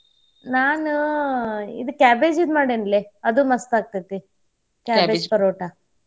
ನಾನ್ ಇದ್ cabbage ದ್ ಮಾಡೇನ್ಲೇ ಅದು ಮಸ್ತಾಕ್ಕೈತಿ cabbage ಪರೋಟಾ.